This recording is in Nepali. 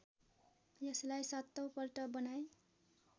यसलाई सातौँपल्ट बनाए